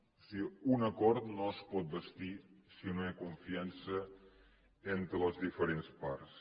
o sigui un acord no es pot bastir si no hi ha confiança entre les diferents parts